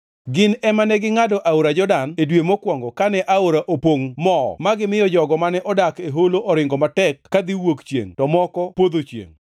Gin ema negingʼado aora Jordan e dwe mokwongo kane aora opongʼ moo ma gimiyo jogo mane odak e holo oringo matek kadhi wuok chiengʼ to moko podho chiengʼ.